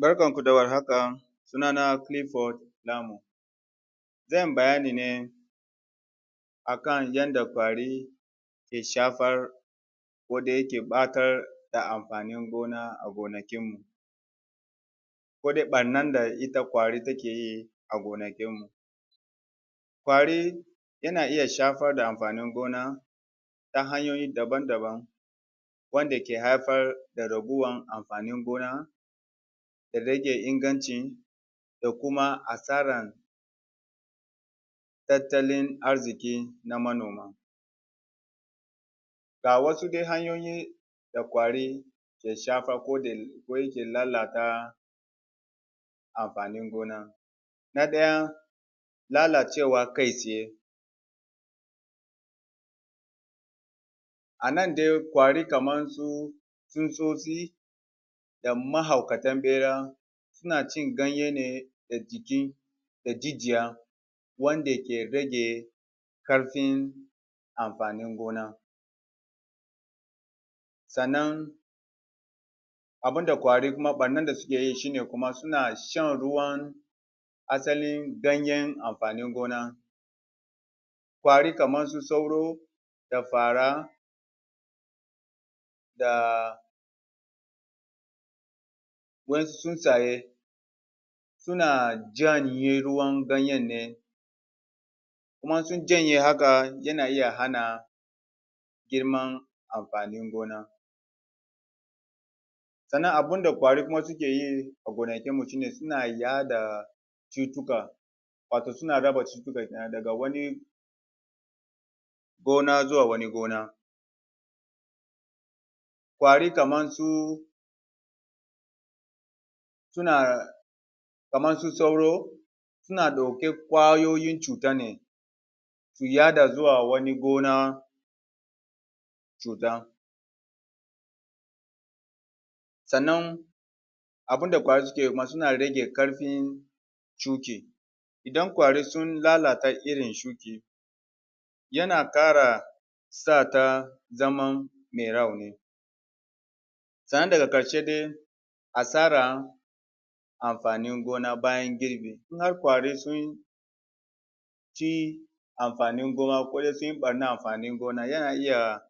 Barkanku da warhaka sunana Philip zan bayani ne a kan yanada ƙwari ke shafar ko dai yake ɓatar da amfanin gona a gonakinmu ko da ɓarnar da ita ƙwari take yi gonakinmu ƙwari yana iya shafar da amfanin gona ta hanyoyi dabamdaban wanda ke haifar da raguwar amfanin gona da rage ingancin da kuma asarar tattalin arziƙi na manoma. ga wasu dai hanyoyi da ƙwari ke shafar ko yake lalata amfanin gona. Na ɗaya lalacewa kai tsaye. A nan dai ƙwari kamarsu tsutsotsi da mahaukatan ɓera suna cin ganye ne da jikin da jijiya wanda ke rage ƙarfin amfanin gona. sannan abun da ƙwari kuma ɓannan da suke yi kuma suna shan ruwan asalin ganyen amfanin gona. ƙwari kamarsu sauro da fara da wa'insu tsuntsaye suna janye ruwan ganyen ne kuma in sun janye haka yana iya hana girman amfanin gona. Sannan abun da ƙwari kuma suke yi a gonakinmu shi ne suna yaɗa cutuka wato suna raba cutuka ke nan daga wani gona zuwa wani gona ƙwari kamar su suna kamar su sauro suna ɗauki ƙwayoyin cuta ne su yaɗa zuwa wani gona. cuta sannan abin da ƙwari suke ma sun rage ƙarfin shuke idan ƙwari sun lalata irin shuke yana ƙara sa ta zaman mai rauni sannan daga ƙarshe dai asara amfanin gona bayan girbi. In har ƙwari sun ci amafanin gona ko dai sun yi ɓarnar amfanin gona yana iya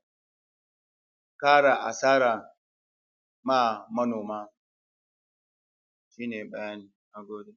ƙara asara ma manoma shi ne bayani na gode.